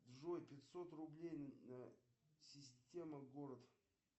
джой пятьсот рублей система город